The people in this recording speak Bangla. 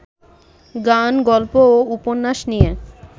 গান, গল্প ও উপন্যাস নিয়ে